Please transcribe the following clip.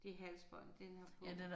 Det halsbånd den har på